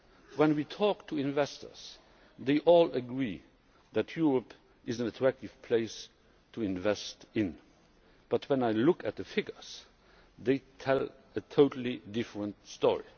When we talk to investors, they all agree that Europe is an attractive place to invest in. But when I look at the figures, they tell a totally different story.